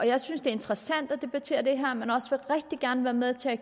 jeg synes det er interessant at debattere det her men vil også rigtig gerne være med til at